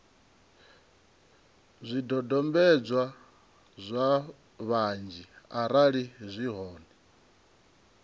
zwidodombedzwa zwa ṱhanzi arali zwi hone